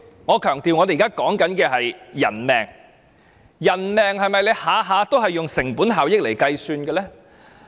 我強調，我們現時所說的是人命，人命是否每次都以成本效益來計算呢？